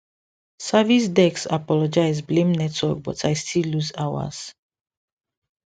service desk apologize blame network but i still lose hours